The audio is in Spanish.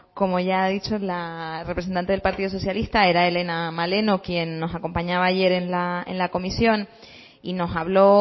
como ya ha dicho la representante del partido socialista era helena maleno quien nos acompañaba ayer en la comisión y nos habló